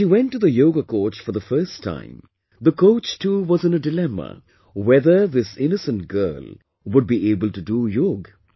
When she went to the Yoga coach for the first time, the coach too was in a dilemma whether this innocent girl would be able to do yoga